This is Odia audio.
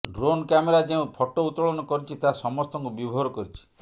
ଡ୍ରୋନ୍ କ୍ୟାମେରା ଯେଉଁ ଫଟୋ ଉତ୍ତୋଳନ କରିଛି ତାହା ସମସ୍ତଙ୍କୁ ବିଭୋର କରିଛି